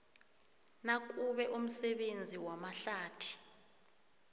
nakube umsebenzi wamahlathi